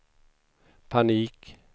panik